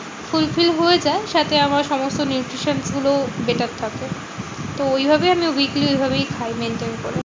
Fulfill হয়ে যায়। সাথে আমার সমস্ত nutrition গুলোও better থাকে। তো ঐভাবেই আমি weekly ঐভাবেই খাই maintain করি